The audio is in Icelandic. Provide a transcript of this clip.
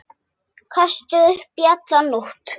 Kastaði upp í alla nótt.